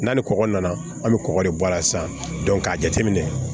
N'a ni kɔgɔ nana an bɛ kɔgɔ de bɔ a la sisan k'a jateminɛ